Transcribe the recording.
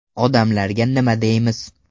Odamlarga nima deymiz?